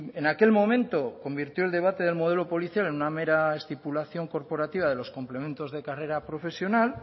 en aquel momento convirtió el debate del modelo policial en una mera estipulación corporativa de los complementos de carrera profesional